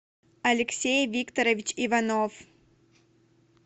алексей викторович иванов